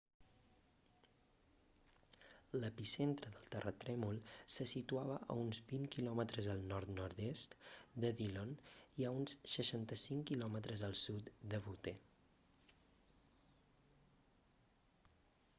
l'epicentre del terratrèmol se situava a uns 20 km al nord-nord-est de dillon i a uns 65 km al sud de butte